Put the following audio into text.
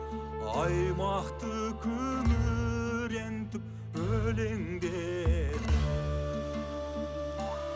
аймақты күңірентіп өлеңдетіп